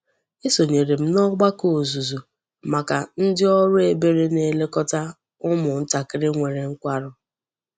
Esonyere m n'ogbako ozuzu maka ndi oru ebere na-elekota umu ntakiri nwere nkwaru.